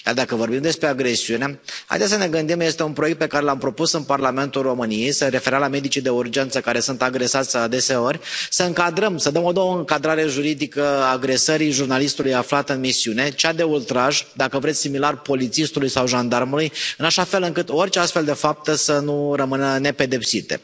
Iar dacă vorbim despre agresiune, haideți să ne gândim, este un proiect pe care l am propus în Parlamentul României, se referea la medicii de urgență care sunt agresați adeseori, să încadrăm, să dăm o nouă încadrare juridică agresării jurnalistului aflat în misiune, cea de ultraj, dacă vreți similar polițistului sau jandarmului, în așa fel încât orice astfel de fapte să nu rămână nepedepsite.